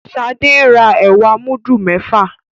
Shade ń rà ẹwà mudu méfà.